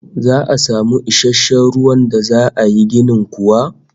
Za'a samu isasshen ruwan da za yi ginin kuwa?